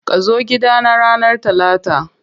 Kazo gida na ranar Talata.